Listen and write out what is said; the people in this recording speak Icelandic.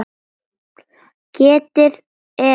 Getið er þeirra.